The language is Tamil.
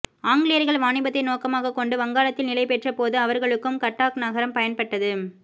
ஆங்கிலேயர்கள் வாணிபத்தை நோக்கமாகக் கொண்டு வங்காளத்தில் நிலைபெற்றபோது அவர்களுக்கும் கட்டாக் நகரம் பயன்பட்டது